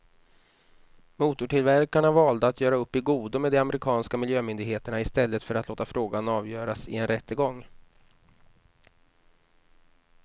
Motortillverkarna valde att göra upp i godo med de amerikanska miljömyndigheterna i stället för att låta frågan avgöras i en rättegång.